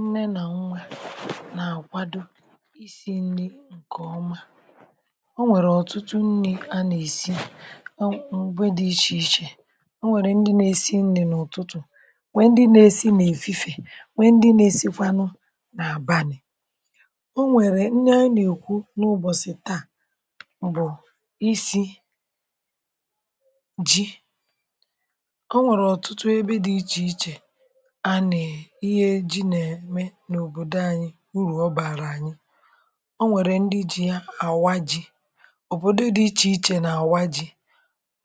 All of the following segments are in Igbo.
Nne nà nwa nà-àkwado isi̇ nri̇ ǹkè ọma. O nwèrè ọ̀tụtụ nni̇ a nà-èsi o m̀gbe dị̇ ichè ichè. O nwèrè ndị na-èsi nri̇ n’ụ̀tụtụ̀ wèè ndị na-èsi nà-èfife, wè ndị na-èsikwanụ nà-àbanị̀. O nwèrè nni a nà-èkwu n’ụbọ̀sị̀ taa, bụ̀ isi̇ ji̇. O nwèrè ọ̀tụtụ ebe dị̇ ichè ichè a na e, ihe ji nà-ème n’òbòdo ȧnyị̇ urù ọ bàrà ànyị, ọ nwèrè ndị ji̇ ya àwá ji̇, ọ̀bodọ̀ dị̇ ichè ichè nà àwá ji̇,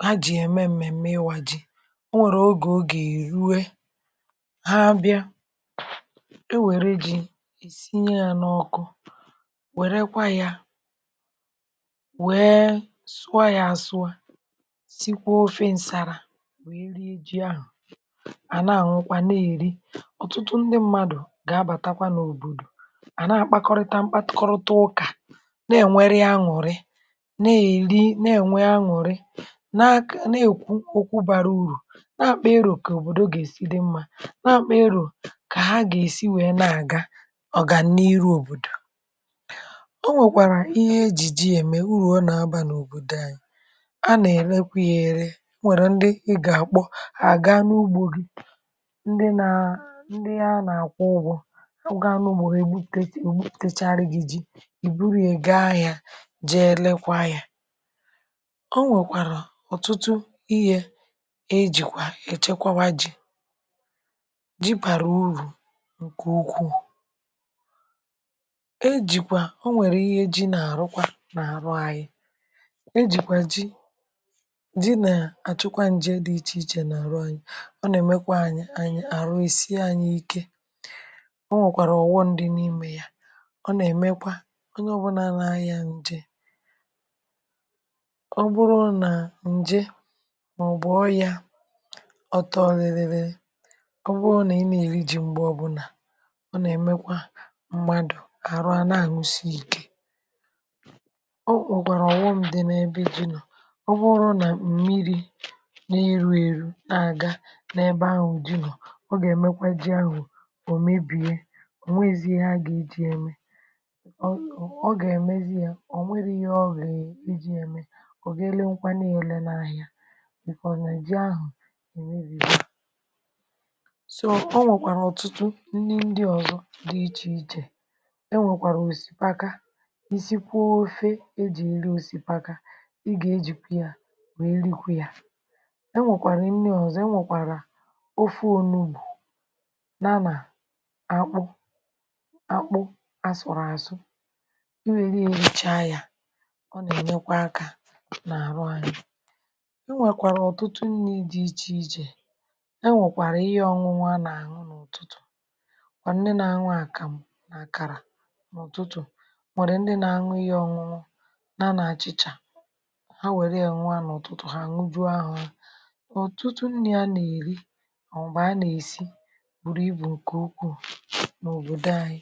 ha jì ya ème m̀mèm̀me ịwȧ ji̇. ọ nwèrè ogè o gà-èruwe ha bịa o wère ji è sinye yȧ n’ọkụ wèrekwa yȧ wee sụọ yȧ àsụọ, sikwa ofe ǹsàrà, wee rie ji ahụ̀, à na-àṅụkwa na-èri. Ọtụtụ ndị mmadù gà-abàtakwa n’òbòdò, à na-akpakọrịta mkpakọrụta ụkà na-ènweri añùri, na-èli na-ènwe añùri, na akọ̀ na-èkwu ọkwụ bara urù na-àkpà ịro kà òbòdò gà-èsi dị mmȧ, na-àkpà ịro kà ha gà-èsi wee na-àga ọ̀gàniri òbòdò. O nwèkwàrà ihe ejì ji ème, urù ọ nà-abȧ n’òbòdò anyị. A nà-èrekwa ya ere, o nwèrè ndị ị gà-àkpọ, ha àgaa n’ugbȯ gi, ndi naa ndị a nà-àkwụ ụgwọ̇ ha n;ugo gi he egwuputarụ gi gwuputarụ gi ji, buru ye jee ahia je rekwe ya. O nwekwara ọtụtụ ihe ejikwe echekwewa ji, ji bara uru nke ukwuu. E jikwa, o nwere ihe ji n’arụkwa n’arụ anyi; e ji kwa ji, ji na achukwa nje di iche iche n’arụ anyi, ọ na emekwa anyi, aru esie anyi ike. O nwekwara ọghọm di n’ime ya; ọ na emekwa, onye ọbụla na anya nje, ọ bụrụ na nje ma ọbụ ọria ọtọ bịribịrị, ọ bu na ị na eri ji mgbe ọbuna, ọ na emekwa mmadụ aru ana anụsị ya ike. O nwekwere oghọm di na ebe ji nọ,ọ bụrụ nà mmiri̇ na-èrụ èrụ na-aga n’ebe ahụ̀ ji nọ̀, ọ ga emekwa ji ahu, ò mebìe ò nwezi ihe a gà-eji̇ ya ème. ọ gà-èmezi ya ọ̀ nwere ihe ọ ga e ji̇ ya ème. ọ gaa ele nkwa na-èle n’ahịa bìkwàrà na jì ahụ̀ èmebigo. So ọ nwèkwàrà ọ̀tụtụ nni ndị ọzọ dị ichè ichè, e nwèkwàrà òsìpaka, nsìkwaa ofė e jì èri òsìpaka. ị gà ejìkwe ya wèe rikwe ya. E nwèkwàrà nnì ọzọ, e nwèkwàrà ofe onugbù ya na akpụ asụrụ àsụ. i weri ye richaa ya, ọ nà-ènyekwa akȧ nà-àrụ anyị. E nwèkwàrà ọ̀tụtụ nni̇ dị ichè ichè, e nwekwàrà ihe ọ̀nụnụ a nà-àñụ n’ụ̀tụtụ̀, ma ndi na-aṅụ àkàmụ̀ nà-àkàrà n’ụ̀tụtụ̀, nwèrè ndi na-aṅụ ihe ọ̀nụnụ, ya nà-achị̇chà, ha nwere ya ṅụo à n’ụtụtụ hà àñụjụo ahọ ha. Ọtụtụ nni̇ a nà-èri, màọ̀bụ̀ a nà-èsi buru ibu nke ukwuu n’obodo anyị.